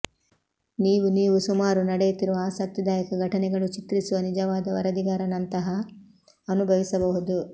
ನೀವು ನೀವು ಸುಮಾರು ನಡೆಯುತ್ತಿರುವ ಆಸಕ್ತಿದಾಯಕ ಘಟನೆಗಳು ಚಿತ್ರಿಸುವ ನಿಜವಾದ ವರದಿಗಾರ ನಂತಹ ಅನುಭವಿಸಬಹುದು